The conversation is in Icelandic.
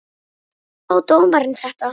Hvernig sá dómarinn þetta?